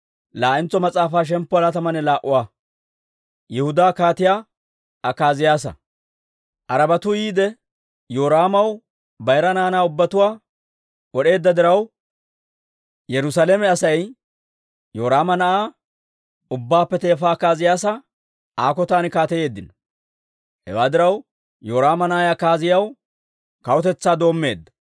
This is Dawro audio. Arabatu yiide Yoraamaw bayira naanaa ubbatuwaa wod'eedda diraw, Yerusaalame Asay Yoraama na'aa ubbaappe teefa Akaaziyaasa Aa kotan kaateyeeddino. Hewaa diraw, Yoraama na'ay Akaaziyaasi kawutetsaa doommeedda.